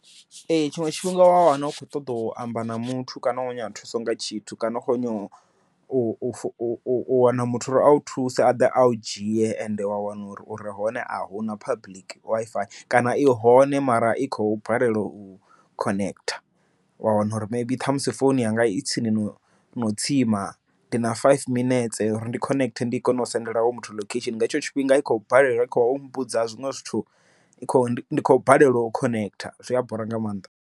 Ee tshiṅwe tshifhinga wa wana u kho ṱoḓa u amba na muthu kana u khou nyanga thuso nga tshithu kana u kho nyaga u wana muthu uri au thuse a ḓa au dzhie ende wa wana uri uri hone ahuna public WiFi kana i hone mara i khou balelwa u khonetha. Wa wana uri maybe ṱhamusi founu yanga i tsini no no tsima, ndi na five minetse uri ndi khonethe ndi kone u sendela hoyo muthu location, nga hetsho tshifhinga i khou balelwa u kho mmbudza zwiṅwe zwithu ndi khou balelwa u khonetha, zwi a bora nga maanḓa.